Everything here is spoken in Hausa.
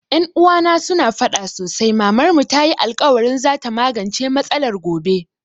Ƴan uwana su na faɗa sosai Mamar mu tayi alkawarin za ta magance matsalar gobe